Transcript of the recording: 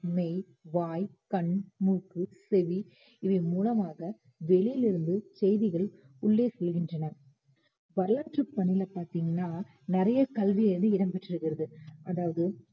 மெய் வாய் கண் மூக்கு செவி இவை மூலமாக வெளியில் இருந்து செய்திகள் உள்ளே செல்கின்றன அதாவது வரலாற்றுப் பின்னணி பார்த்தீங்கன்னா நிறைய கல்வியானது இடம்பெற்று இருக்கு